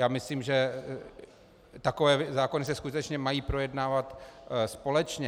Já myslím, že takové zákony se skutečně mají projednávat společně.